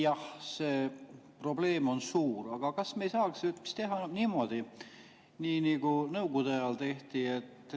Jah, see probleem on suur, aga kas me ei saaks teha niimoodi, nagu Nõukogude ajal tehti?